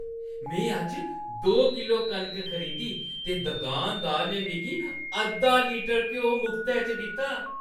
मैं अज्ज दो किलो कनक खरीदी ते दुकानदार ने मिगी अद्धा लीटर घ्यो मुख्तै च दित्ता।